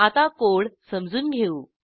आता कोड समजून घेऊ